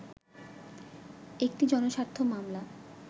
একটি জনস্বার্থ মামলা